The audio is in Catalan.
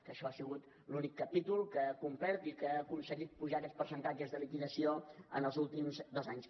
que això ha sigut l’únic capítol que ha complert i que ha aconseguit apujar aquests percentatges de liquidació en els últims dos anys